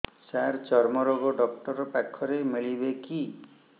ସାର ଚର୍ମରୋଗ ଡକ୍ଟର ପାଖରେ ମିଳିବେ କି